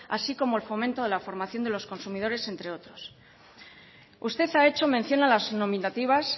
así como el fomento de la formación de los consumidores entre otros usted ha hecho mención a las nominativas